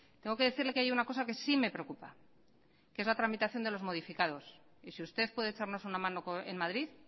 tengo que decirle que hay una cosa que sí me preocupa que es la tramitación de los modificados y si usted puede echarnos una mano en madrid